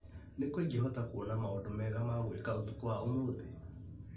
Nĩkũ ingĩhota kuona maũndũ mega ma gwĩka ũtukũ wa ũmũthĩ ?